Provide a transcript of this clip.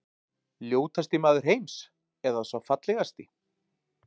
Ljótasti maður heims- eða sá fallegasti?